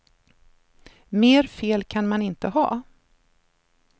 Mer fel kan man inte ha.